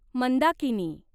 Mandakini